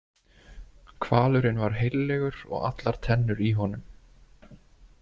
Hvalurinn var heillegur og allar tennur í honum.